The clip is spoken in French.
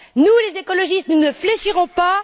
Nous, les écologistes, ne fléchirons pas.